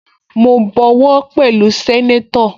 Mo bọwọ́ pẹ̀lú sẹ́nétọ̀